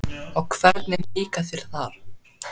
Og hvernig líkar þér þar?